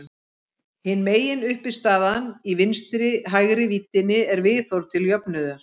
Hin meginuppistaðan í vinstri-hægri víddinni er viðhorf til jöfnuðar.